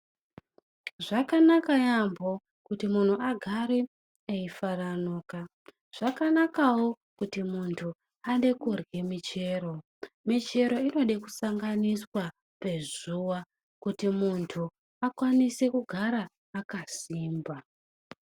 Zvakanaka yaambo kuti munhu agare eifaranuka. Zvakanakawo kuti mundhu ade korye michero. Michero inode kusanganiswa pazuwa kuti mundhu akwanise kugara akasimba.